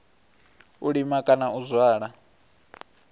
u lima kana u zwala